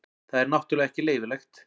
Það er náttúrulega ekki leyfilegt.